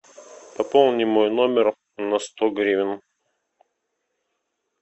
пополни мой номер на сто гривен